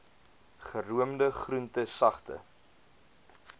geroomde groente sagte